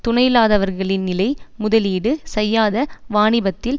துணையில்லாதவர்களின் நிலை முதலீடு செய்யாத வாணிபத்தில்